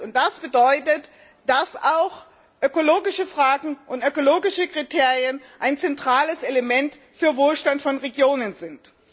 Und das bedeutet, dass auch ökologische Fragen und ökologische Kriterien ein zentrales Element für Wohlstand von Regionen sind.